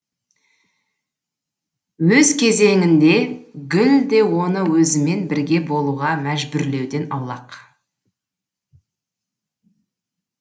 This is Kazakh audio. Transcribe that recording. өз кезегінде гүл де оны өзімен бірге болуға мәжбүрлеуден аулақ